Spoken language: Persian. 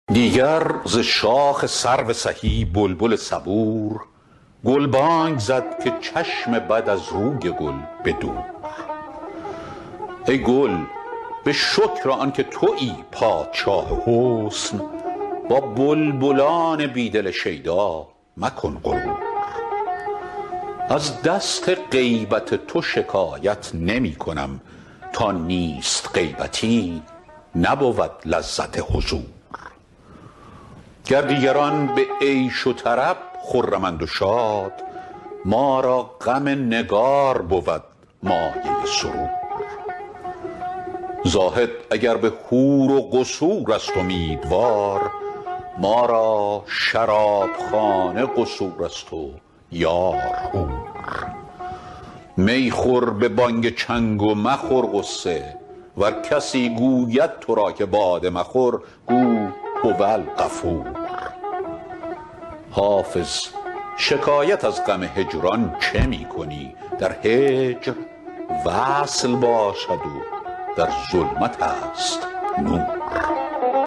دیگر ز شاخ سرو سهی بلبل صبور گلبانگ زد که چشم بد از روی گل به دور ای گل به شکر آن که تویی پادشاه حسن با بلبلان بی دل شیدا مکن غرور از دست غیبت تو شکایت نمی کنم تا نیست غیبتی نبود لذت حضور گر دیگران به عیش و طرب خرمند و شاد ما را غم نگار بود مایه سرور زاهد اگر به حور و قصور است امیدوار ما را شرابخانه قصور است و یار حور می خور به بانگ چنگ و مخور غصه ور کسی گوید تو را که باده مخور گو هوالغفور حافظ شکایت از غم هجران چه می کنی در هجر وصل باشد و در ظلمت است نور